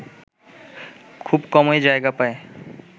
খুব কমই জায়গা পায়